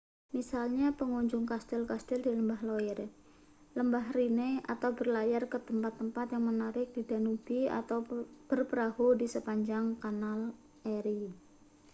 misalnya mengunjungi kastil-kastil di lembah loire lembah rhine atau berlayar ke tempat-tempat yang menarik di danube atau berperahu di sepanjang kanal erie